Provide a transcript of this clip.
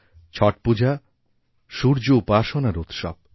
ছট পূজা সূর্য উপাসনার উৎসব